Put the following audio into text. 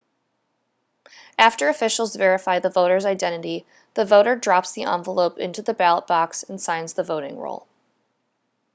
after officials verify the voter's identity the voter drops the envelope into the ballot box and signs the voting roll